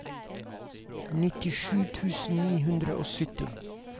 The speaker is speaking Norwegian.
nittisju tusen ni hundre og sytti